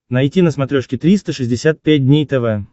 найти на смотрешке триста шестьдесят пять дней тв